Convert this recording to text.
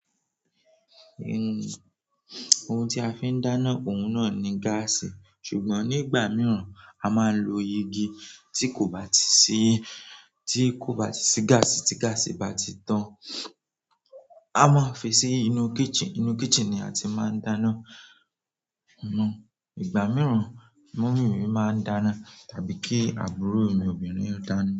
Ohun tí a fi ń dáná, òun náà ni gáàsì ṣùgbọ́n nígbà mìíràn a máa ń lo igi tí kò bá ti sí, tí kò bá ti sí gáàsì tí gáàsì bá ti tán. A máa ń fi sí inú kitchen, inú kitchen ni a ti máa ń dáná. Hunhun, ìgbà mìíràn mọ́mì mi máa ń dáná tàbí kí àbúrò mi obìnrin dáná.